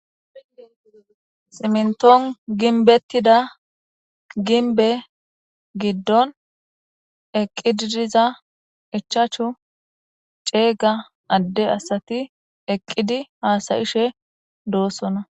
Simintuan ginbetida ginbe gidon eqidi diza ichchachu cega ade asati eqidi hasayishe dosona.